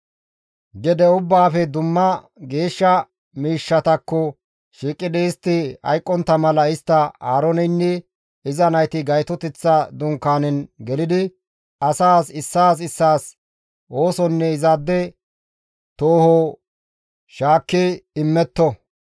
Gede ubbaafe dumma geeshsha miishshatakko shiiqidi istti hayqqontta mala istta Aarooneynne iza nayti Gaytoteththa Dunkaanen gelidi asaas issaas issaas oosonne izaade tooho shaakki immetto.